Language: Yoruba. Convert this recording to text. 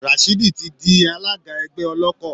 Rashidi ti di alága ẹgbẹ́ Ọlọ́kọ̀